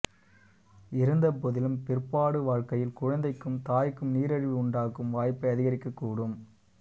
இருந்தபோதிலும் பிற்பாடு வாழ்க்கையில் குழந்தைக்கும் தாய்க்கும் நீரிழிவு உண்டாகும் வாய்ப்பை அதிகரிக்கக் கூடும்